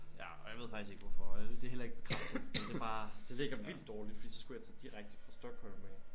Ja og jeg ved faktisk ikke hvorfor og det er heller ikke bekræftet men det er bare det ligger vildt dårligt fordi så skulle jeg tage direkte fra Stockholm af